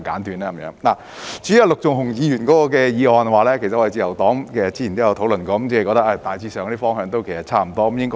至於陸頌雄議員的修正案，自由黨早前亦曾討論過，認為他提出的方向大致上可行，我們應會支持的。